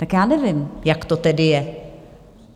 Tak já nevím, jak to tedy je.